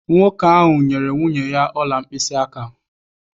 Nwoke ahụ nyere nwunye ya ọla mkpịsịaka.